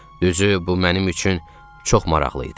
Üzü bu mənim üçün çox maraqlı idi.